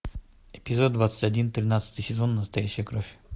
эпизод двадцать один тринадцатый сезон настоящая кровь